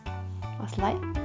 осылай